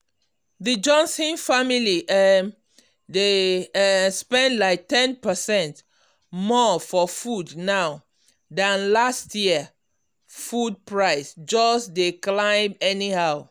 the johnson family um dey um spend like ten percent more for food now than last year food price just dey climb anyhow.